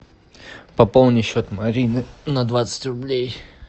пополни счет марины на двадцать рублей